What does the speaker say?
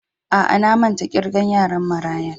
Aa, na manta da kirgan yaran marayan.